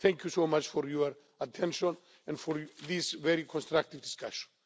Thank you so much for your attention and for this very constructive discussion.